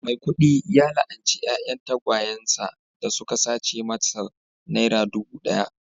maikudu ya la'anci 'ya'yan tagwayen sa da suka sace masa naira dubu daya